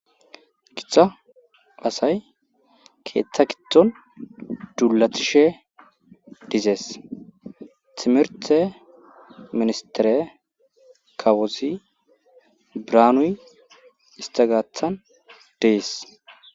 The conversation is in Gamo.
gicha pasay keeththa gitton duulatishe dizees timirthe ministere kawosi braanuy istagaathan dees